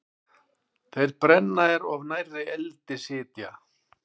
Þeir brenna er of nærri eldi sitja.